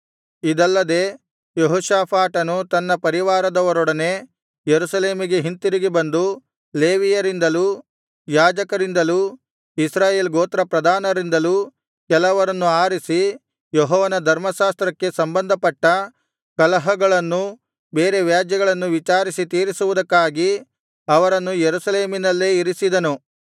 ಇದಲ್ಲದೆ ಯೆಹೋಷಾಫಾಟನು ತನ್ನ ಪರಿವಾರದವರೊಡನೆ ಯೆರೂಸಲೇಮಿಗೆ ಹಿಂತಿರುಗಿ ಬಂದು ಲೇವಿಯರಿಂದಲೂ ಯಾಜಕರಿಂದಲೂ ಇಸ್ರಾಯೇಲ್ ಗೋತ್ರ ಪ್ರಧಾನರಿಂದಲೂ ಕೆಲವರನ್ನು ಆರಿಸಿ ಯೆಹೋವನ ಧರ್ಮಶಾಸ್ತ್ರಕ್ಕೆ ಸಂಬಂಧಪಟ್ಟ ಕಲಹಗಳನ್ನೂ ಬೇರೆ ವ್ಯಾಜ್ಯಗಳನ್ನೂ ವಿಚಾರಿಸಿ ತೀರಿಸುವುದಕ್ಕಾಗಿ ಅವರನ್ನು ಯೆರೂಸಲೇಮಿನಲ್ಲೇ ಇರಿಸಿದನು